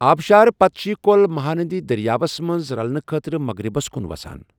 آبشار پتہٕ چھِ یہِ کۄل مہاندی دریاوَس منٛز رَلنہٕ خٲطرٕ مغرِبَس کُن وَسان۔